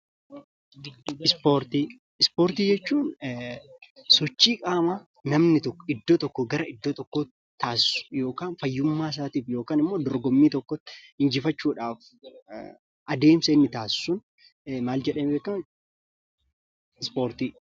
Ispoortii jechuun sochii qaama namni tokko iddoo tokkoo gara iddoo tokkootti taassisu yookiin fayyummaa isaatiif jecha yookiin immoo dorgommii tokko taassisuun injifachuuf adeemsi inni taassisuun ispoortii jedhama.